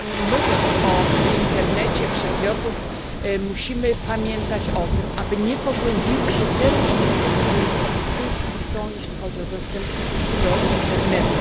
Mówiąc o internecie przedmiotów musimy pamiętać o tym, aby nie pogłębiły się te różnice, które już w tej chwili istnieją, jeśli chodzi o dostęp do internetu.